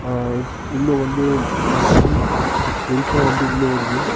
ஆ உள்ள வந்து சன் வெளிச்சோ வந்து உள்ள வருது.